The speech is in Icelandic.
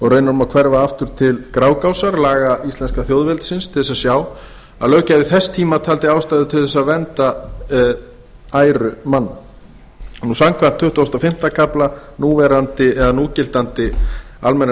raunar má hverfa aftur til grágásar laga íslenska þjóðveldisins til að sjá að löggjafi þess tíma taldi ástæðu til að vernda æru manna samkvæmt tuttugustu og fimmta kafla núgildandi almennra